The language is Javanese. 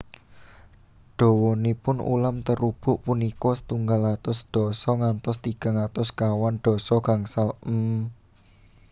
Dawanipun ulam terubuk punika setunggal atus sedasa ngantos tigang atus sekawan dasa gangsal mm